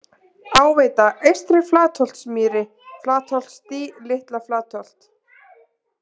Áveita, Eystri-Flatholtsmýri, Flatholtsdý, Litla-Flatholt